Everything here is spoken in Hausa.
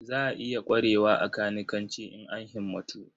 Za a iya ƙwarewa a kanikanci in an himmatu.